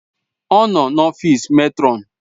Ọ nọ n'ọfịs mètrọn.